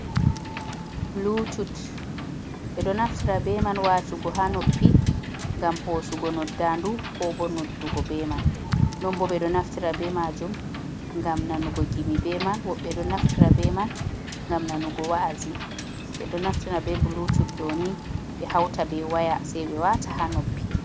bulutud be do naftira be man watugo ha noppi, gam hosugo noɗɗanɗu ko bo noɗɗugo be man. Non bo ɓe ɗo naftira be majum gam nanugo gimi be man. Wobbe ɗo naftira be man ngam nanugo wa'azi. Be do naftira be bulutud dooni be hauta be waya sei be wata ha noppi.